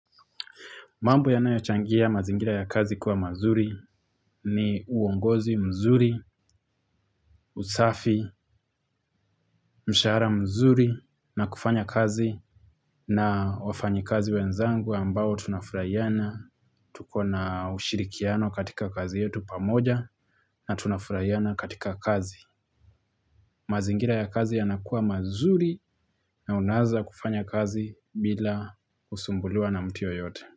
Mambo yanayochangia mazingira ya kazi kuwa mazuri ni uongozi mzuri, usafi, mshahara mzuri na kufanya kazi na wafanyi kazi wenzangu ambao tunafurahiana. Tuko na ushirikiano katika kazi yetu pamoja na tunafurahiana katika kazi. Mazingira ya kazi yanakuwa mazuri na unaweza kufanya kazi bila kusumbuliwa na mtu yeyote.